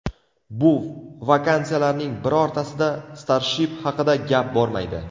Bu vakansiyalarning birortasida Starship haqida gap bormaydi.